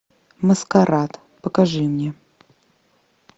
маскарад покажи мне